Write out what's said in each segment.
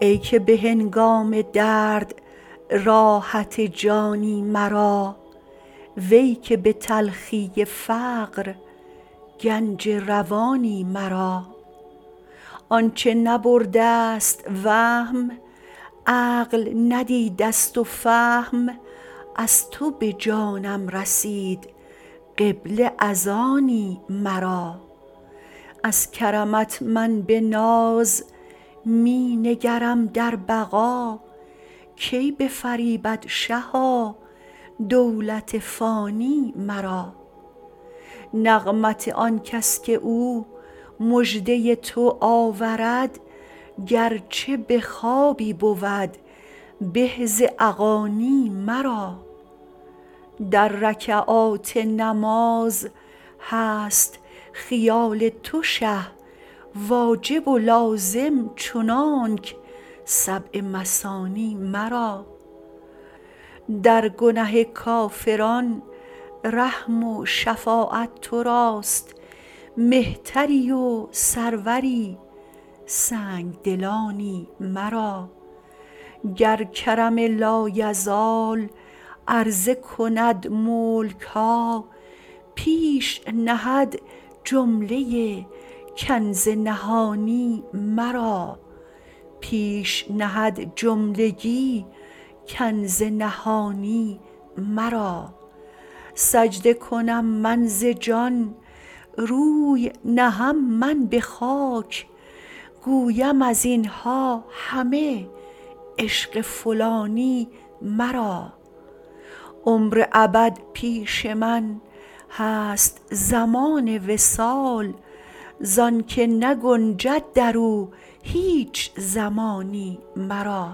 ای که به هنگام درد راحت جانی مرا وی که به تلخی فقر گنج روانی مرا آنچه نبرده ست وهم عقل ندیده ست و فهم از تو به جانم رسید قبله از آنی مرا از کرمت من به ناز می نگرم در بقا کی بفریبد شها دولت فانی مرا نغمت آنکس که او مژده ی تو آورد گرچه به خوابی بود به ز اغانی مرا در رکعات نماز هست خیال تو شه واجب و لازم چنانک سبع مثانی مرا در گنه کافران رحم و شفاعت تو راست مهتری و سروری سنگ دلانی مرا گر کرم لایزال عرضه کند ملک ها پیش نهد جمله ای کنز نهانی مرا سجده کنم من ز جان روی نهم من به خاک گویم از این ها همه عشق فلانی مرا عمر ابد پیش من هست زمان وصال زانک نگنجد در او هیچ زمانی مرا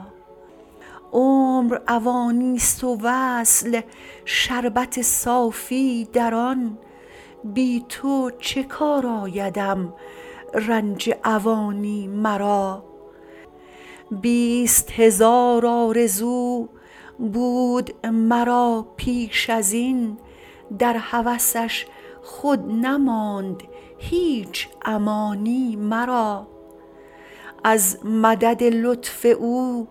عمر اوانی ست و وصل شربت صافی در آن بی تو چه کار آیدم رنج اوانی مرا بیست هزار آرزو بود مرا پیش از این در هوسش خود نماند هیچ امانی مرا از مدد لطف او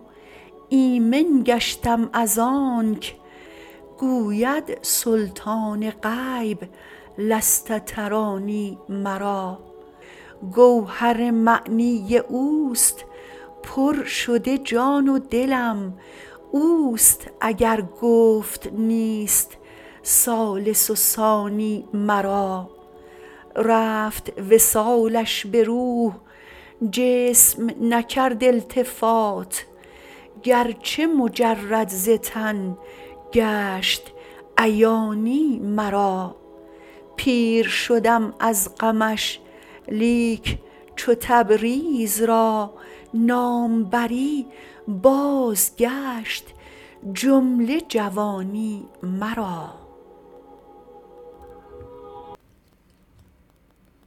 ایمن گشتم از آنک گوید سلطان غیب لست ترانی مرا گوهر معنی اوست پر شده جان و دلم اوست اگر گفت نیست ثالث و ثانی مرا رفت وصالش به روح جسم نکرد التفات گرچه مجرد ز تن گشت عیانی مرا پیر شدم از غمش لیک چو تبریز را نام بری بازگشت جمله جوانی مرا